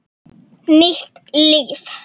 Nýtt líf